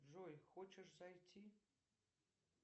джой хочешь зайти